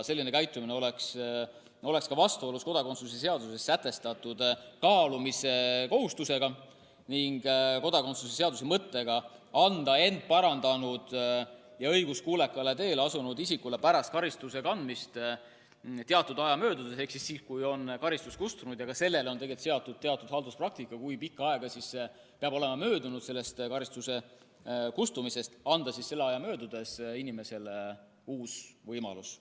Selline käitumine oleks vastuolus kodakondsuse seaduses sätestatud kaalumise kohustusega ning kodakondsuse seaduse mõttega anda end parandanud ja õiguskuulekale teele asunud isikule pärast karistuse kandmist teatud aja möödudes ehk siis, kui karistus on kustunud – ka selle kohta, kui pikk aeg peab olema möödunud karistuse kustumisest, on olemas oma halduspraktika –, anda selle aja möödudes inimesele uus võimalus.